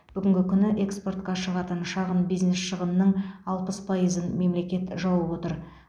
бүгінгі күні эксортқа шығатын шағын бизнес шығынының алпыс пайызын мемлекет жауып отыр